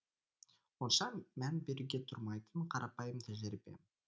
онша мән беруге тұрмайтын қарапайым тәжірибе